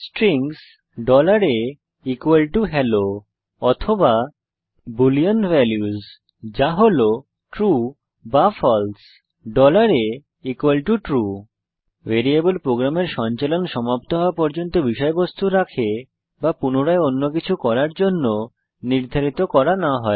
strings ahello অথবা boolean values যা হল ট্রু বা ফালসে atrue ভ্যারিয়েবল প্রোগ্রামের সঞ্চালন সমাপ্ত হওয়া পর্যন্ত বিষয়বস্তু রাখে বা পুনরায় অন্য কিছু করার জন্য নির্ধারিত করা না হয়